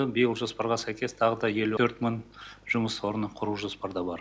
биыл жоспарға сәйкес тағы да елу төрт мың жұмыс орны құру жоспарда бар